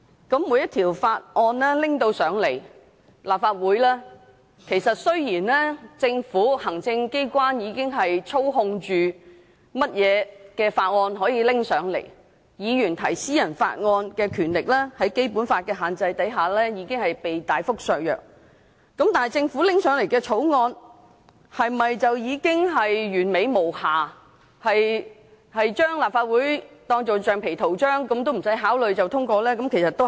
當每項法案提交至立法會時——雖然行政機關和政府已經操控哪項法案可提交立法會，議員提出私人法案的權力在《基本法》的限制下亦已被大幅削弱——但政府提交立法會的法案是否已經完美無瑕，可以將立法會當作橡皮圖章，完全不用考慮便通過法案呢？